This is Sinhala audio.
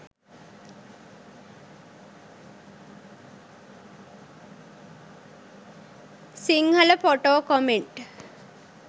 sinhala photo comment